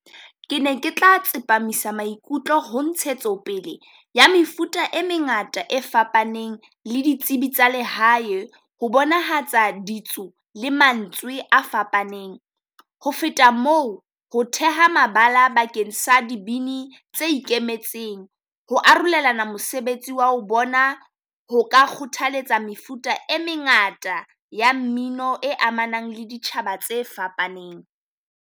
Ke ne ke tla tsepamisa maikutlo ho ntshetsopele ya mefuta e mengata e fapaneng le ditsebi tsa lehae, ho bonahatsa ditso le mantswe a fapaneng. Ho feta moo, ho theha mabala bakeng sa dibini tse ikemetseng ho arolelana mosebetsi wa ho bona. Ho ka kgothaletsa mefuta e mengata ya mmino e amanang le ditjhaba tse fapaneng.